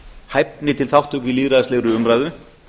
hæfni til þátttöku í lýðræðislegri umræðu